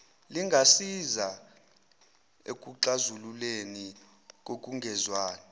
lingasiza ekuxazululeni kokungezwani